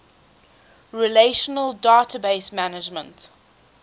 relational database management